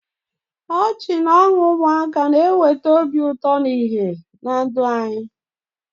Ọchị na ọṅụ ụmụaka na-eweta obi ụtọ na ìhè na ndụ anyị.